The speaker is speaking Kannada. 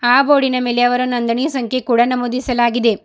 ಆ ಬೋರ್ಡಿನ ಮೇಲೆ ಅವರ ನೊಂದಣಿ ಸಂಖ್ಯೆ ಕೂಡ ನಮೂದಿಸಲಾಗಿದೆ.